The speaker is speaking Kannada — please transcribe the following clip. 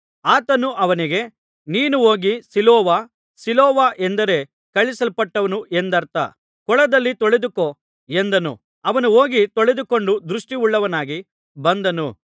ಆತನು ಅವನಿಗೆ ನೀನು ಹೋಗಿ ಸಿಲೋವ ಸಿಲೋವ ಎಂದರೆ ಕಳುಹಿಸಲ್ಪಟ್ಟವನು ಎಂದರ್ಥ ಕೊಳದಲ್ಲಿ ತೊಳೆದುಕೋ ಎಂದನು ಅವನು ಹೋಗಿ ತೊಳೆದುಕೊಂಡು ದೃಷ್ಟಿಯುಳ್ಳವನಾಗಿ ಬಂದನು